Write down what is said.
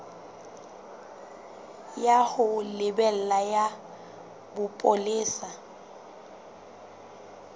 ya ho lebela ya bopolesa